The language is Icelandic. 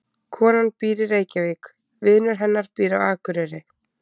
Konan býr í Reykjavík. Vinur hennar býr á Akureyri.